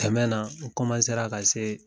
Kɛmɛ na, n ra ka see